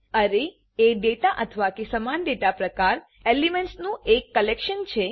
અરે એ ડેટા અથવા કે સમાન ડેટા પ્રકાર એલીમેન્ટ્સનું એક કલેક્શન છે